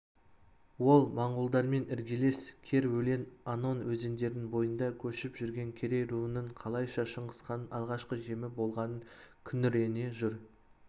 ол монғолдармен іргелес керөлең онон өзендерінің бойында көшіп жүрген керей руының қалайша шыңғысханның алғашқы жемі болғанын күңірене жыр